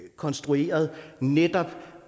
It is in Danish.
konstrueret netop